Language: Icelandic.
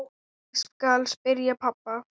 Ég skal spyrja pabba.